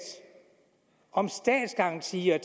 om statsgarantier